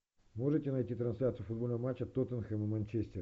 можете найти трансляцию футбольного матча тоттенхэм и манчестер